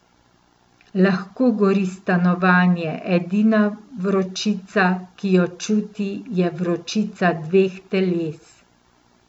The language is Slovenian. Lahko gori stanovanje, edina vročica, ki jo čuti, je vročica dveh teles.